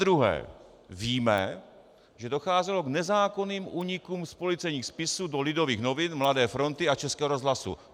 Zadruhé víme, že docházelo k nezákonným únikům z policejních spisů do Lidových novin, Mladé fronty a Českého rozhlasu.